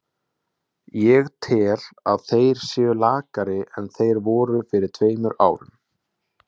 Ég tel að þeir séu lakari en þeir voru fyrir tveimur árum.